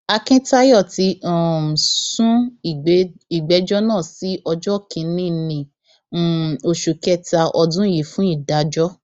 akíntayọ ti um sún ìgbẹjọ náà sí ọjọ kìnínní um oṣù kẹta ọdún yìí fún ìdájọ